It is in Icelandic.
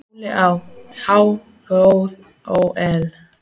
Óli á. há joð ó ell.